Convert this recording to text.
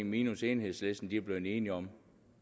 minus enhedslisten er blevet enige om